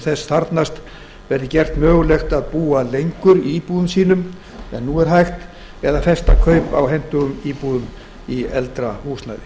þess þarfnast verði gert mögulegt að búa lengur í íbúðum sínum en nú er hægt eða festa kaup á hentugum íbúðum í eldra húsnæði